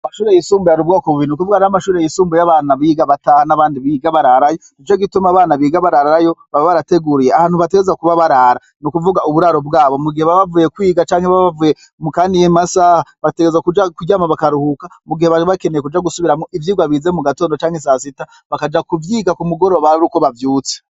Amashure yisumbuye hari ubwoko bubiri ayo biga bataha nayo biga bararayo Nico gituma abana biga bararayo baba barateguye ahantu biga barara nukuvuga muburaro bwabo mu gihe bavuye kwiga canke mukaniye masaha bategerezwa kuja kuryama bakaruhuka mugihe bari bategereje kuja gusubira ivyigwa bize mu gatondo canke sasita bakaja kuvyiga kumugoroba Ari uko bavyutse.